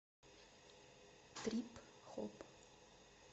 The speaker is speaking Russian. трип хоп